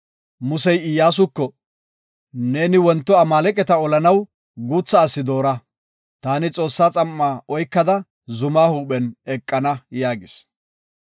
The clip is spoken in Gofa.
Muse Iyyasuko, “Neeni wonto Amaaleqata olanaw guutha asi doora. Taani Xoossaa xam7aa oykada zuma huuphen eqana” yaagis.